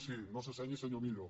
sí no se senyi senyor millo